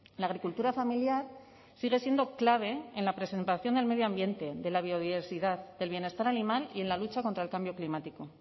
la agricultura familiar sigue siendo clave en la presentación del medio ambiente de la biodiversidad del bienestar animal y en la lucha contra el cambio climático